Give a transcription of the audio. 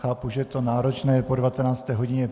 Chápu, že je to náročné po 19. hodině.